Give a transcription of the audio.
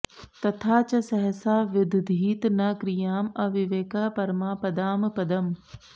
तथा च सहसा विदधीत न क्रियां अविवेकः परमापदां पदम्